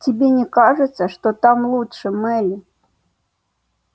тебе не кажется что так лучше мелли